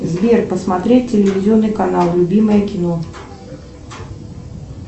сбер посмотреть телевизионный канал любимое кино